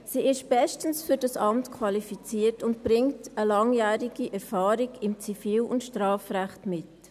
Sie ist bestens für dieses Amt qualifiziert und bringt eine langjährige Erfahrung im Zivil- und Strafrecht mit.